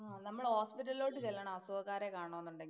ആ നമ്മള് ഹോസ്പിറ്റലിലോട്ട് ചെല്ലണം അസുഖക്കാരെ കാണണം എന്നുണ്ടെങ്കി